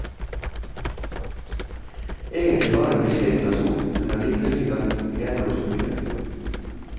Egentlig var han en beskjeden person, men allikevel fikk han igjennom så mye.